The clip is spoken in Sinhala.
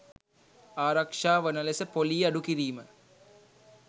ආරක්ෂා වන ලෙස ‍පොලී අඩු කිරීම